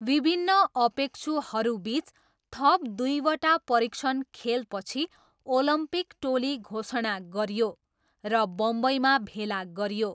विभिन्न अपेक्षुहरूबिच थप दुईवटा परीक्षण खेलपछि, ओलम्पिक टोली घोषणा गरियो र बम्बईमा भेला गरियो।